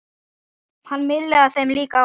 Hann miðlaði þeim líka áfram.